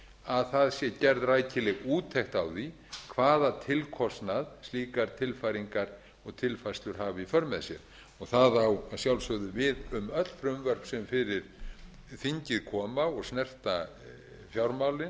að það sé gerð rækileg úttekt á því hvaða tilkostnað slíkar tilfæringar og tilfærslur hafa í för með sér og það á að sjálfsögðu við öll frumvörp sem fyrir þingið koma og snerta fjármálin